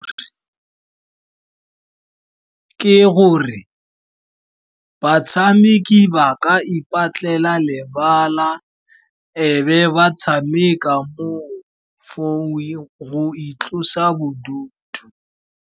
Ke gore batshameki ba ka ipatlela lebala ebe ba tshameka mo for go itlosa bodutu.